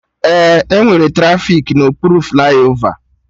Ee, enwere trafiki na okpuru flaiova